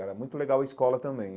Era muito legal a escola também.